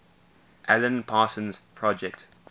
alan parsons project